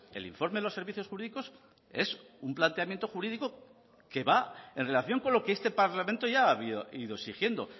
el informe de los servicios jurídicos es un planteamiento jurídico que va en relación con lo que este parlamento ya ha ido exigiendo